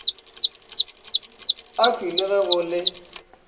akhwi le ge go le